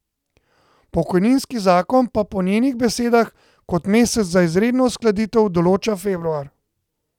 Pokojninski zakon pa po njenih besedah kot mesec za izredno uskladitev določa februar.